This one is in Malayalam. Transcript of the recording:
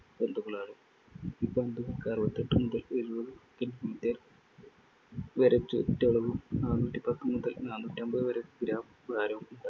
പന്തുകളാണ്. ഈ പന്തുകൾക്ക് അറുപത്തിയെട്ട് മുതൽ എഴുപതു വരെ ചുറ്റളവും നാന്നൂറ്റിപത്ത് മുതൽ നാന്നൂറ്റിയമ്പത് വരെ gram ഭാരവും